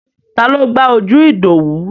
Taló gbá ojú Ìdòwú?